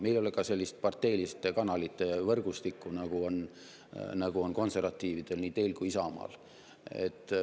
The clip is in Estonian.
Meil ei ole ka sellist parteiliste kanalite võrgustikku, nagu on konservatiividel, nii teil kui ka Isamaal.